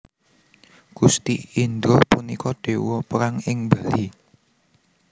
Gusti Indra punika dewa perang ing Bali